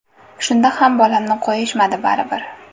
Shunda ham bolamni qo‘yishmadi baribir.